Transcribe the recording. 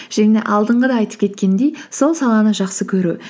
жаңағы алдынғыда айтып кеткендей сол саланы жақсы көру